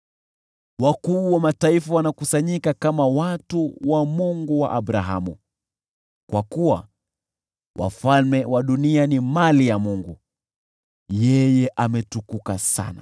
Wakuu wa mataifa wanakusanyika kama watu wa Mungu wa Abrahamu, kwa kuwa wafalme wa dunia ni mali ya Mungu; yeye ametukuka sana.